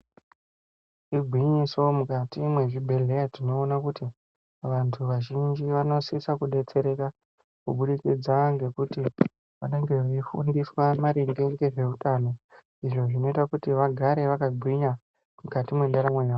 Igwinyiso mukati mwezvibhedhleya tinoona kuti vantu vazhinji vanosisa kubetsereka kubudikidza nokuti vanenge veifundiswa maringe ngezveutano izvo zvinoita kuti vagare vakagwinya mukati mwendaramo yavo.